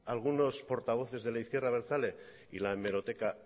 algunos portavoces de la izquierda abertzale y la hemeroteca